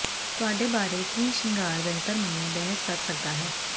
ਤੁਹਾਡੇ ਬਾਰੇ ਕੀ ਸ਼ਿੰਗਾਰ ਬਿਹਤਰ ਮੰਨੇ ਬਹਿਸ ਕਰ ਸਕਦਾ ਹੈ